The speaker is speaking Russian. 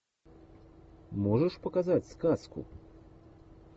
можешь показать сказку